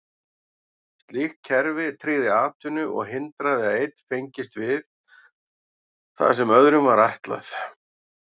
Slíkt kerfi tryggði atvinnu og hindraði að einn fengist við það sem öðrum var ætlað.